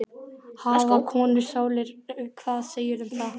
Hafa konur sálir, hvað segirðu um það?